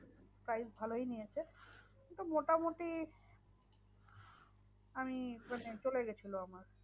Price ভালোই নিয়েছে তো মোটামুটি আমি মানে চলে গেছিলো আমার।